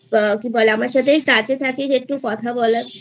আমার সাথে Touch এ থাকিস একটু কথা বলার